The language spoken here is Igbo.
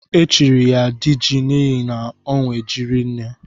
Echiri ya diji n'ihi na onwe ji rinne.